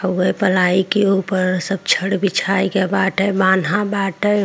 हउए प्लाई के ऊपर सब छड़ बिछाए के बाटे बाटे।